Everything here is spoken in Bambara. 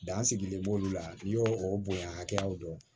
Dan sigilen b'olu la n'i y'o o bonya hakɛyaw dɔn